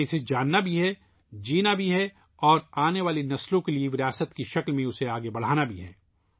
ہمیں اسے جاننا بھی ہے ، اسے زندہ رکھنا ہے اور اسے آنے والی نسلوں کے لئے میراث کے طور پر منتقل کرنا ہے